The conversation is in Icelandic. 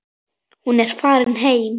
Hún er farin heim.